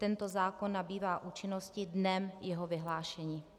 Tento zákon nabývá účinnosti dnem jeho vyhlášení.